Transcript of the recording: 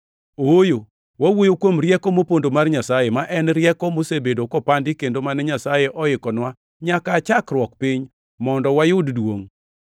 Ooyo, wawuoyo kuom rieko mopondo mar Nyasaye, ma en rieko mosebedo kopandi kendo mane Nyasaye oikonwa nyaka aa chakruok piny mondo wayud duongʼ.